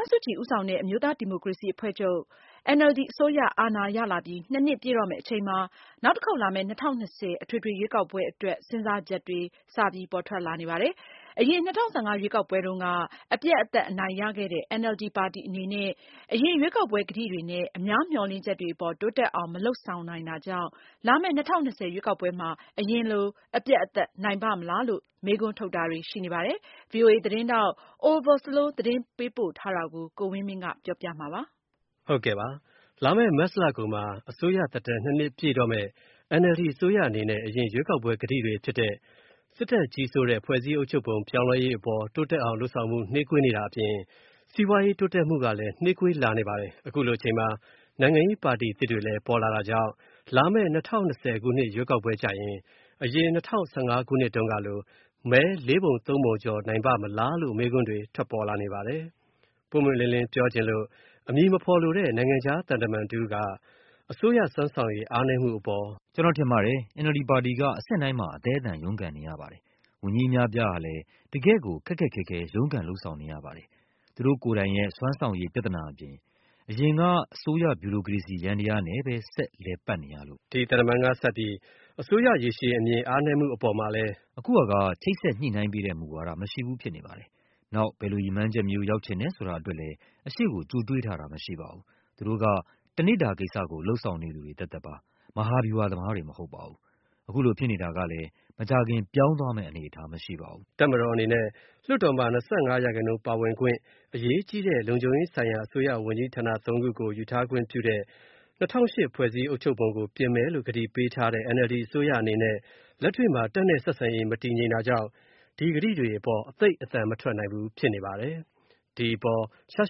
န်းစုကြည်ဦးဆောင်တဲ့ အမျိုးသားဒီမိုကရေစီအဖွဲ့ချုပ် အစိုးရအာဏာရလာပြီး နှစ်ပြည့်တော့မဲ့ အချိန်မှာနောက်တစ်ခေါက်လာမဲ့ ၂၀၂၀ အထွေထွေရွေးကောက်ပွဲအတွက် စဉ်းစားချက်တွေ စပေါ်ထွက်လာနေပါတယ်။ အရင် ၂၀၁၅ ရွေးကောက်ပွဲတုံးက သောင်ပြိုကမ်းပြိုနိုင်ခဲ့တဲ့ NLD ပါတီ အနေနဲ့ အရင် ရွေးကောက်ပွဲကတိတွေနဲ့ အများမျှော်လင့်ချက်တွေအပေါ် တိုးတက်အောင် မလုပ်ဆောင်နိုင်တာကြောင့် လာမဲ့ ၂၀၂၀ ရွေးကောက်ပွဲမှာ အရင်လို အပြတ်နိုင်ပါ့မလားလို့ မေးခွန်းထုတ်တာတွေ ရှိနေပါတယ်။ ဒီအကြောင်း VOA သတင်းထောက် Oliver Slow သတင်းပို့ထားတာကို ကိုဝင်းမင်းက ပြောပြပေးမှာပါ။ လာမယ့် မတ်လကုန်မှာ အစိုးရသက်တမ်း ၂ နှစ် ပြည့်တော့မယ့် NLD အစိုးရအနေနဲ့ အရင်ရွေးကောက်ပွဲ ကတိတွေဖြစ်တဲ့ စစ်တပ်ကြီးစိုးတဲ့ ဖွဲ့စည်းအုပ်ချုပ်ပုံပြောင်းလဲရေးအပေါ် တိုးတက်အောင်လုပ်ဆောင်ဖို့ နှေးကွေးနေတာအပြင် စီးပွားရေးတိုးတက်ဖို့ကလည်း နှေးကွေးလာနေပါတယ်။ အခုလိုအချိန်မှာ နိုင်ငံရေးပါတီအသစ်တွေလည်း ပေါ်လာတာကြောင့် လာမယ့် ၂၀၂၀ ခုနှစ်ရွေးကောက်ပွဲကျရင် အရင်၂၀၁၅ တုန်းကလို မဲ ၄ ပုံ ၃ ပုံ ကျော်နိုင်ပါ့မလားလို့ မေးခွန်းတွေ ထွက်ပေါ်နေပါတယ်။ ပွင့်ပွင့်လင်းလင်းပြောချင်လို့ အမည်မဖော်လိုတဲ့ နိုင်ငံခြားသံတမန်တဦး က အစိုးရစွမ်းဆောင်ရည်အားနည်း မှုအပေါ် "ကျွန်တော်ထင်ပါတယ်။ NLD ပါတီက အဆင့်တိုင်းမှာ အသဲအသန် ရုံးကန်နေရပါတယ်။ ဝန်ကြီး အများအပြားဟာလဲ တကယ့်ကို ခက်ခက်ခဲခဲ ရုန်းကန်လုပ်ဆောင်နေရပါတယ်၊ သူတို့ ကိုယ်တိုင်ရဲ့ စွမ်းဆောင်ရည် ပြဿနာအပြင်၊ အရင်က အစိုးရ ဗျူရိုကရေစီယန္တယားနဲ့ပဲ ဆက်လည်ပတ်နေရလို့ပါ။" ဒီသံတမန်ကဆက်ပြီး အစိုးရရေရှည်အားနည်းမှုအပေါ်မှာ လည်း "အခုဟာက ချိတ်ဆက်ညှိုနှိုင်းပေးတဲ့ မူဝါဒ မရှိဘူးဖြစ်နေပါတယ်။ နောက် ဘယ်လိုရည်မှန်းချက်မျိုး ရောက်ချင်တယ်ဆိုတာအတွက်လဲ အရှေ.ကို ကြိုတွေးထားတာ မရှိပါဘူး။ သူတို့က တနေ့ဓူဝကိစ္စ လုပ်ဆောင်နေသူတွေ သက်သက်ပါ။ မဟာဗျူဟာ သမားတွေ မဟုတ်ပါဘူး။ အခုလိုဖြစ်နေတာကလည်း မကြာခင် ပြောင်းသွားမဲ့ အနေအထား မရှိပါဘူူး။" တပ်မတော်အနေနဲ့လည်း လွှတ်တော်မှာ ၂၅ ရာခိုင်နှုန်းပါဝင်ခွင့် အရေးကြီးတဲ့ လုံခြုံရေးဆိုင်ရာ အစိုးရဝန်ကြီးဌာန ၃ ခုကို ယူထားခွင့်ပြုတဲ့ ၂၀၀၈ ဖွဲ့စည်းအုပ်ချုပ်ပုံကို ပြင်မယ်လို့ ကတိ ပေးထားတဲ့ NLD အစိုးရအနေနဲ့ လက်တွေ့မှာ တပ်နဲ့ ဆက်ဆံရေး မတည်ငြိမ်တာကြောင့် ဒီကတိတွေအပေါ် သိပ်အသံမထွက်နိုင်ဘူး ဖြစ်နေပါတယ်။ ဒီအပေါ်ရှား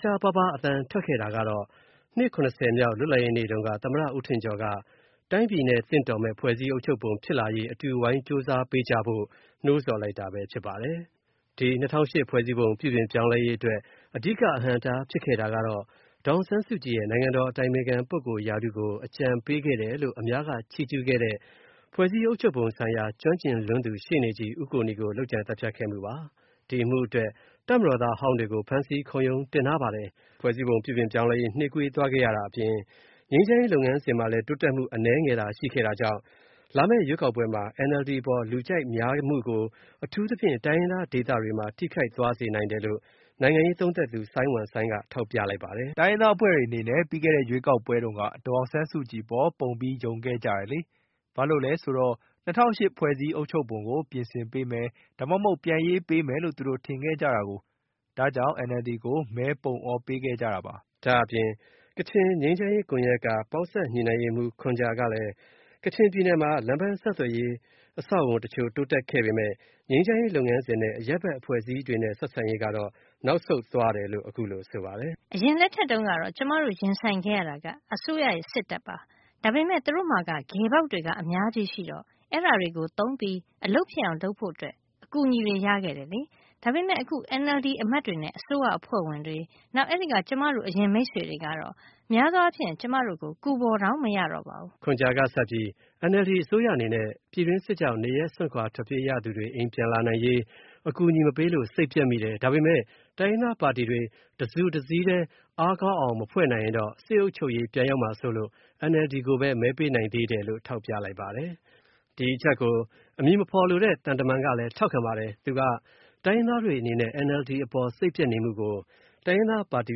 ရှားပါးပါးအသံထွက်ခဲ့တာကတော့ နှစ် ၇၀ မြောက်လွှတ်လပ်ရေးနေ့တုန်းက သမ္မတ ဦးထင်ကျော်က တိုင်းပြည်နဲ့ သင့်တော်တဲ့ ဖွဲ့စည်းအုပ်ချုပ်ပုံဖြစ်လာရေးအတွက် အတူဝိုင်းကြိုးစားပေးကြဖို့ နိုးဆော်လိုက်တာပဲဖြစ်ပါတယ်။ ဒီ ၂၀၀၈ ဖွဲ့စည်းပုံ ပြုပြင်ပြောင်းလဲရေးအတွက် အဓိက အဟန့်အတားဖြစ်ခဲ့တာကတော့ ဒေါ်အောင်ဆန်းစုကြည်ရဲ့ နိုင်ငံတော်အတိုင်ပင်ခံ ပုဂ္ဂိုလ်ရာထူးကို အကြံပေးခဲ့တယ်လို့ အများက ချီးကျူးခဲ့တဲ့ ဖွဲ့စည်းအုပ်ချုပ်ပုံဆိုင်ရာ ကျွမ်းကျင်လွန်းသူ ရှေ့နေ ဦးကိုနီကို လုပ်ကြံသတ်ဖြတ်ခဲ့မှုပါ။ ဒီအမှုအတွက် တပ်မတော်သားအဟောင်းတွေကို ဖမ်းဆီး ခုံရုံးတင်ထားပါတယ်။ ဖွဲ့စည်းပုံ ပြုပြင်ပြောင်းလဲရေး နှေးကွေးသွားရတာအပြင် ငြိမ်းချမ်းရေး လုပ်ငန်းစဉ်မှာလည်း တိုးတက်မှု အနည်းငယ်သာ ရှိခဲ့တာကြောင့် လာမယ့်ရွေးကောက်ပွဲမှာ NLD အပေါ်လူကြိုက်များမှု ကို အထူးသဖြင့် တိုင်းရင်းသားဒေသတွေမှာ ထိခိုက်သွားစေနိုင်တယ်လို့ နိုင်ငံရေးသုံးသပ်သူ စိုင်းဝမ်စိုင်းက ထောက်ပြလိုက်ပါတယ်။ "တိုင်းရင်းသားအဖွဲ့တွေအနေနဲ့ ပြီးခဲ့တဲ့ ရွေးကောက်ပွဲတုန်းက ဒေါ်အောင်ဆန်းစုကြည်အပေါ် ပုံပြီး ယုံခဲ့ကြတယ်လေ၊ ဘာလို့လဲဆိုတော့ ၂၀၀၈ ဖွဲ့စည်းအုပ်ချုပ်ပုံကို ပြင်ဆင်ပေးမယ်၊ ဒါမှမဟုတ် ပြန်ရေးပေးမယ်လို့ သူတို့ ထင်ခဲ့ကြတာကိုး။ ဒါကြောင့် NLD ကို မဲ ပုံအော ပေးခဲ့လိုက်တာလေ။" ဒါ့အပြင် ကချင်ငြိမ်းချမ်းရေးကွန်ရက်က ပေါင်းစပ် ညှိနှိုင်းရေးမှူး ခွန်ဂျာကလည်း ကချင်ပြည်နယ်မှာ လမ်းပန်းဆက်သွယ်ရေး အဆောက်အအုံတချို့တိုးတက်မှုရှိခဲ့ပေမယ့် ငြိမ်းချမ်းရေးလုပ်ငန်းစဉ်နဲ့ အရပ်ဘက်အဖွဲ့အစည်းတွေ ဆက်ဆံရေးကတော့ နောက်ဆုတ်သွားတယ်လို့ အခုလို ဆိုပါတယ်။ "အရင်လက်ထက်တုန်း ကတော့ ကျွန်မတို့ ရင်ဆိုင်ခဲ့ရတဲ့ အစိုးရက စစ်တပ်ပါ။ ဒါပေမဲ့ သူတို့မှာက ဂယ်ပေါက်တွေ အများကြီးရှိတော့ အဲ့ဒါတွေကို သုံးပြီး အလုပ်ဖြစ်အောင် လုပ်ဖို့ အကူအညီတွေ ရခဲ့တယ်လေ။ ဒါပေမဲ့ အခု NLD အမတ်တွေနဲ့ အစိုးရအဖွဲ့ဝင်တွေ၊ နောက် အဲ့ဒိက ကျွန်မတို့ အရင် မိတ်ဆွေတွေကတော့ များသောအားဖြင့် ကျွန်တော်တို့ကို ကူဖော်တောင် မရတော့ပါဘူး။" ခွန်ဂျာကဆက်ပြီး NLD အစိုးရအနေနဲ့ ပြည်တွင်းစစ်ကြောင့် နေရပ်စွန့်ခွာထွက်ပြေးရသူတွေ အိမ်ပြန်လာနိုင်ရေး အကူအညီမပေးလို့ စိတ်ပျက်မိတယ်၊ ဒါပေမယ့် တိုင်းရင်းသားပါတီတွေ တစုတစည်းထဲ အားကောင်းအောင်မဖွဲ့နိုင်ရင်တော့ စစ်အုပ်ချုပ်ရေး ပြန်ရောက်မှာစိုးလို့ NLD ကိုပဲ မဲပေးနိုင်သေးတယ်လို့ ထောက်ပြလိုက်ပါတယ်။ ဒီအချက်ကို အမည်မဖော်လိုတဲ့ သံတမန်ကလည်း ထောက်ခံပါတယ်။ သူက တိုင်းရင်းသားတွေအနေနဲ့ NLD အပေါ် စိတ်ပျက်နေမှုကို တိုင်းရင်းသားပါတီ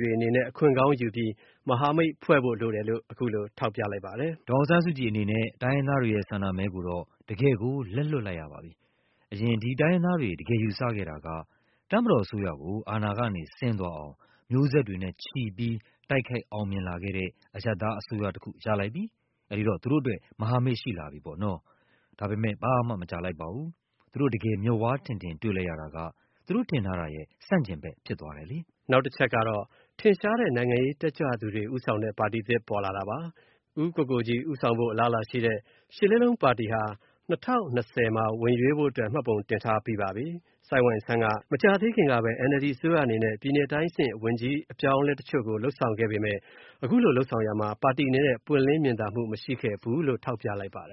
တွေ အနေနဲ့ အခွင့်ကောင်းယူပြီး မဟာမိတ်ဖွဲ့ဖို့လိုတယ်လို့ အခုလို ထောက်ပြလိုက်ပါတယ်။ "ဒေါ်အောင်ဆန်းစုကြည်အနေနဲ့ တိုင်းရင်သားတွေရဲ့ ဆန္ဒမဲ ကိုတော့ တကယ့်ကို လက်လွှတ်လိုက်ရပါပြီ။ အရင် ဒီတိုင်းရင်းသားတွေ တကယ်ယူဆခဲ့တာက တပ်မတော်အစိုးရကို အာဏာကနေဆင်းသွားအောင် မျိးဆက်တွေနဲ့ချီပြီး တိုက်ခိုက်အောင်မြင်လာခဲ့တဲ့ အရပ်သားအစိုးရတစ်ခု ရလိုက်ပြီ၊ အဲ့ဒီတော့ သူတို့အတွက် မဟာမိတ် ရှိလာပြီပေါ့နော်။ ဒါပေမဲ့ ဘာမှမကြာလိုက်ပါဘူး၊ သူတို့ တကယ် မျက်ဝါးထင်ထင်တွေ့လိုက်ရတာက သူတို့ထင်ထားတာရဲ့ ဆန့်ကျင်ဖက်ဖြစ်သွားတယ်လေ။" နောက်တချက်ကတော့ ထင်ရှားတဲ့သူတွေဦးဆောင်တဲ့ ပါတီသစ်ပေါ်လာတာပါ။ ဦးကိုကိုကြီးဦးဆောင်ဖို့ အလားအလာရှိတဲ့ ၈ လေးလုံးပါတီဟာ ၂၀၂၀ မှာ ဝင်ရွေးဖို့အတွက် မှတ်ပုံတင်ထားပြီးပါပြီ။ ဆိုင်းဝမ်ဆိုင်းကတော့ မကြာသေးခင်ကပဲ NLD အစိုးရအနေနဲ့ တိုင်းအဆင့်ဝန်ကြီးအပြောင်းအလဲတချို့ကို လုပ်ဆောင်ခဲ့ပေမယ့် အခုလိုလုပ်ဆောင်ရာမှာ ပါတီအနေနဲ့ ပွင့်လင်း မြင်သာမှုမရှိခဲ့ဘူးလို့ ထောက်ပြလိုက်ပါတယ်။